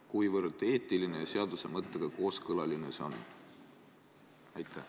Kuivõrd eetiline ja seaduse mõttega kooskõlas see on?